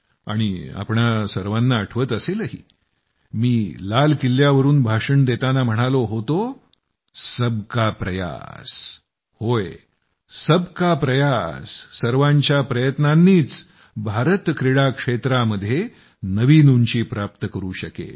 आणि तुम्हा सर्वांना आठवत असेलही मी लाल किल्ल्यावरून भाषण देताना म्हणालो होतो सबका प्रयास होय सबका प्रयास सर्वांच्या प्रयत्नांनीच भारत क्रीडा क्षेत्रामध्ये नवीन उंची प्राप्त करू शकेल